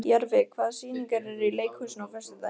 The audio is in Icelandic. Jarfi, hvaða sýningar eru í leikhúsinu á föstudaginn?